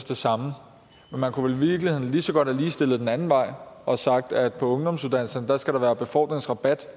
det samme men man kunne jo i virkeligheden lige så godt have ligestillet den anden vej og sagt at på ungdomsuddannelserne skal der være befordringsrabat